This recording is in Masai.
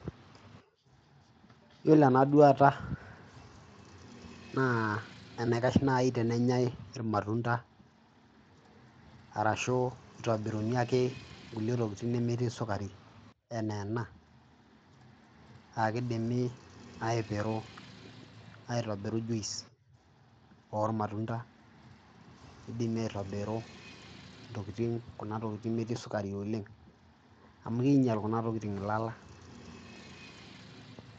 Iyiolo ena duata naa enaikash nai tenenyai iramtunda arashu itobiruni ake nkulie tokitin nemetii sukari enaa ena aake idimi aipiru aitobiru juice or matunda, idimi aitobiru ntokitin kuna tokitin metii sukari oleng' amu kiinyal kuna tokitin ilala.